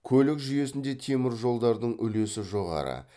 көлік жүйесінде теміржолдардың үлесі жоғары